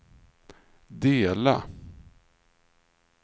dela